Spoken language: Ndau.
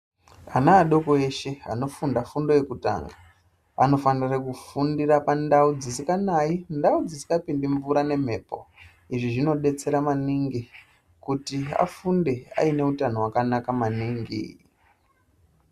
Ana adoko eshe anofunda fundo yekutanga anofanira kufundira pandau dzisinganaye, ndau dzisingapinde mvura nemhepo izvi zvinodetsera maningi kuti afunde aine utano hwakanaka maningi